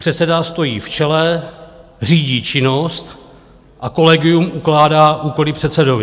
Předseda stojí v čele, řídí činnost a kolegium ukládá úkoly předsedovi.